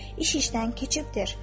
İş işdən keçibdir.